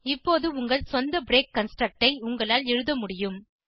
இப்போது உங்கள் சொந்த பிரேக் கன்ஸ்ட்ரக்ட் ஐ உங்களால் எழுத முடியும்